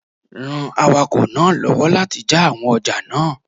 Ran awakọ̀ náà lọ́wọ́ láti jà àwọn ọjà náà